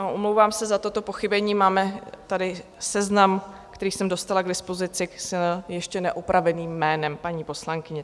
A omlouvám se za toto pochybení, máme tady seznam, který jsem dostala k dispozici s ještě neopraveným jménem paní poslankyně.